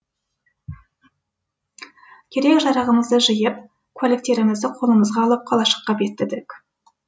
керек жарағымызды жиып куәліктерімізді қолымызға алып қалашыққа беттедік